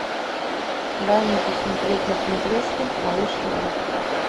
дай мне посмотреть на смотрешке малыш тв